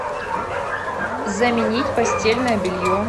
заменить постельное белье